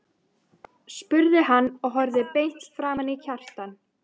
spurði hann og horfði beint framan í Kjartan.